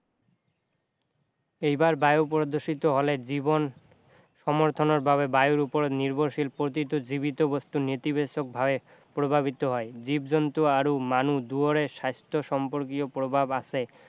এইবাৰ বায়ু প্ৰদূষিত হলে জীৱন সমৰ্থনৰ বাবে বায়ুৰ ওপৰত নিৰ্ভৰশীল প্ৰতিটো জীৱিত বস্তু নেতিবাচক ভাৱে প্ৰভাৱিত হয় জীৱ-জন্তু আৰু মানুহ দুয়োৰে স্বাস্থ্য সম্পৰ্কীয় প্ৰভাৱ আছে